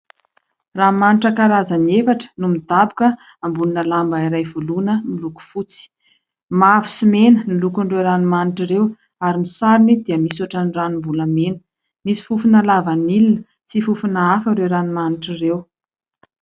Ranomanitra karazany efatra no midaboka ambonina lamba iray voloina, miloko fotsy. Mavo sy mena ny lokon'ireo ranomanitra ireo, ary ny sarony dia misy ohatry ny ranom-bolamena. Misy fofona lavanila sy fofona hafa ireo ranomanitra ireo.